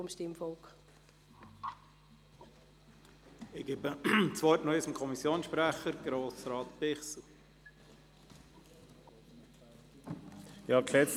Ich erteile das Wort noch einmal dem Kommissionssprecher, Grossrat Bichsel.